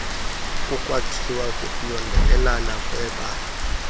kukwathiwa kukuyondelelana kwebali